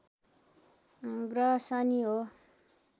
ग्रह शनि हो